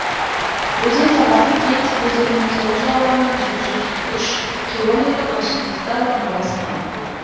өзен сағасы кеть өзенінің сол жағалауынан жеті жүз үш километр қашықтықта орналасқан